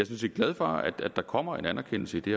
set glad for at der kommer en anerkendelse i det